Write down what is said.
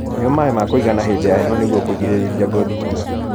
Nyua maĩ ma kuigana hĩndĩ ya heho nĩguo kũgirĩrĩrĩa ngothi nyumu